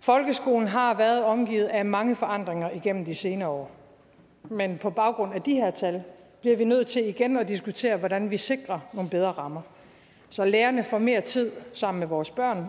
folkeskolen har været omgivet af mange forandringer igennem de senere år men på baggrund af de her tal bliver vi nødt til igen at diskutere hvordan vi sikrer nogle bedre rammer så lærerne får mere tid sammen med vores børn